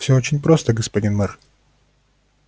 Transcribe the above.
всё очень просто господин мэр